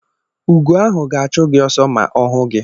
Ugo ahụ ga-achụ gị ọsọ ma ọ hụ gị.